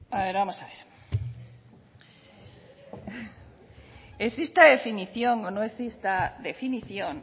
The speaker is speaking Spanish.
vamos a ver exista definición o no exista definición